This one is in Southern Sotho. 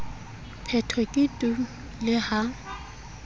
phetho ke tu le ha